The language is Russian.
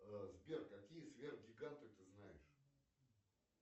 сбер какие сверхгиганты ты знаешь